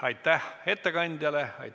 Aitäh ettekandjale!